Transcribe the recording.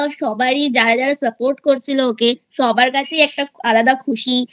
যারা যারা Support করছিল ওকে সবার কাছেই একটা আলাদা খুশি